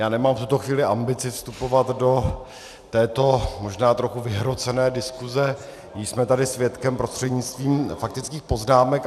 Já nemám v tuto chvíli ambici vstupovat do této možná trochu vyhrocené diskuse, jíž jsme tady svědkem prostřednictvím faktických poznámek.